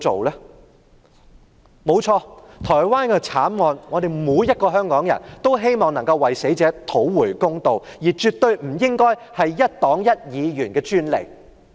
對於台灣的慘案，每個香港人也希望能夠為死者討回公道，但這絕對不應該是一黨一議員的專利。